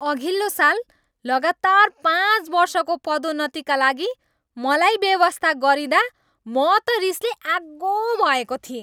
अघिल्लो साल लगातार पाँच वर्षको पदोन्नतिका लागि मलाई बेवास्ता गरिँदा म त रिसले आगो भएको थिएँ।